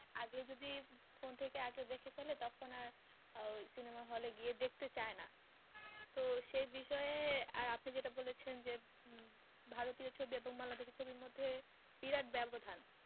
আগে যদি phone থেকে আগে দেখে ফেলে তখন আর ওই cinema hall এ গিয়ে দেখতে চায় না তো সেই বিষয়ে আর আপনি যেটা বলেছেন যে উম ভারতীয় ছবি এবং বাংলাদেশির ছবির মধ্যে বিরাটব্যবধান